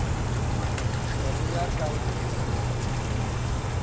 ne re ya ka nnqeng